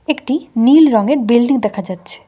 একটি নীল রঙের বিল্ডিং দেখা যাচ্ছে।